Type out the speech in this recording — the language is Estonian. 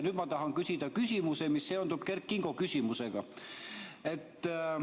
Nüüd ma tahan küsida küsimuse, mis seondub Kert Kingo küsimusega.